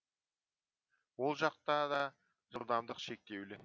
ол жақта да жылдамдық шектеулі